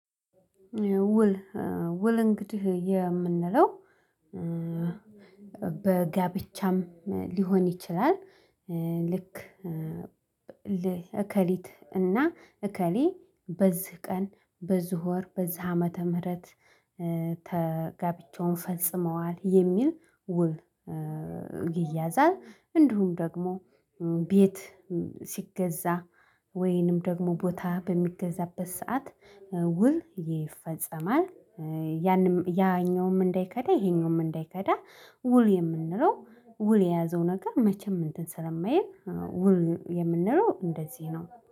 ውል ኧ ውል እንግዲህ የምንለው ኧ በጋብቻም ሊሆን ይችላል። ኧ ልክ ል እከሊት እና እከሌ በዚህ ቀን በዚህ ወር በዚህ ዓመተ ምህረት ጋብቻውን ፈጽመዋል የሚል ውል ይያዛል። እንዲሁም ደግሞ ቤት ሲገዛ ወይንም ደግሞ ቦታ በሚገዛበት ሰዓት ውል ይፈጸማል። ያኛውም እንዳይከዳ ይሄኛውም እንዳይከዳ ውል የምንለው ውል የያዘው ነገር መቼም እንትን ስለማየህ ውል የምንለው እንደዚህ ነው